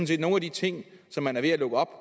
set nogle af de ting som man er ved at lukke op